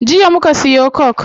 Jiya muka siyo coke